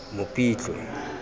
mopitlwe